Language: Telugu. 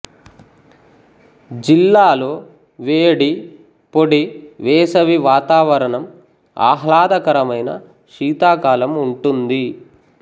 జిల్లాలో వేడి పొడి వేసవి వాతావరణం ఆహ్లాదకరమైన శీతాకాలం ఉంటుంది